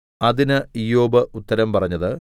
അതിന് ഇയ്യോബ് ഉത്തരം പറഞ്ഞത്